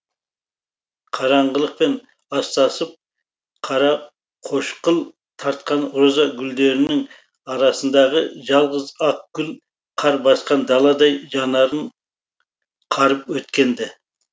қараңғылықпен астасып қарақошқыл тартқан роза гүлдерінің арасындағы жалғыз ақ гүл қар басқан даладай жанарын қарып өткен ді